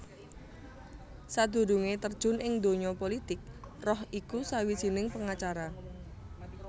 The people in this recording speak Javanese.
Sadurungé terjun ing donya pulitik Roh iku sawijining pengacara